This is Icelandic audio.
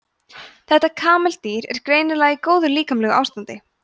þetta kameldýr er greinilega í góðu líkamlegu ástandi